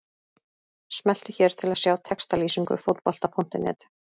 Smelltu hér til að sjá textalýsingu Fótbolta.net.